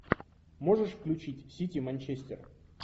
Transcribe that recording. можешь включить сити манчестер